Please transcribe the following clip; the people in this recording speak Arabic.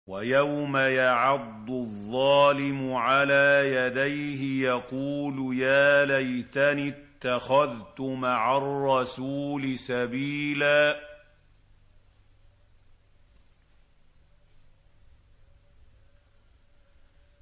وَيَوْمَ يَعَضُّ الظَّالِمُ عَلَىٰ يَدَيْهِ يَقُولُ يَا لَيْتَنِي اتَّخَذْتُ مَعَ الرَّسُولِ سَبِيلًا